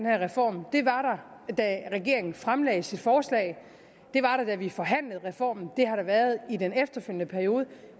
reform det var der da regeringen fremlagde sit forslag det var der da vi forhandlede reformen det har der været i den efterfølgende periode